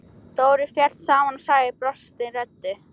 Dóri féll saman og sagði brostinni röddu: